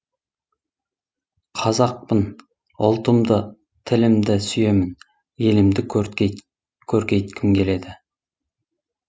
қазақпын ұлтымды тілімді сүйемін елімді көрткейткім келеді